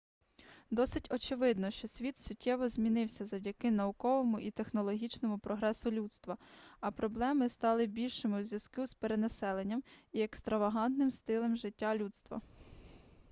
досить очевидно що світ суттєво змінився завдяки науковому і технологічному прогресу людства а проблеми стали більшими у зв'язку з перенаселенням і екстравагантним стилем життя людства